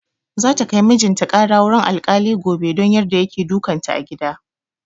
Za ta kai mijin ta ƙara wurin alkali gobe don yarda yake dukan ta a gida.